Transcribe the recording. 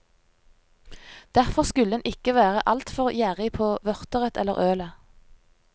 Derfor skulle en ikke være altfor gjerrig på vørteret eller ølet.